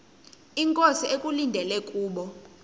inkosi ekulindele kubo